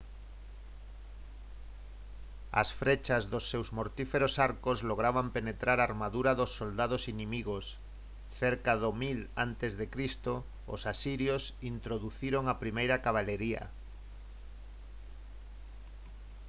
as frechas dos seus mortíferos arcos lograban penetrar a armadura dos soldados inimigos cerca do 1000 a c os asirios introduciron a primeira cabalería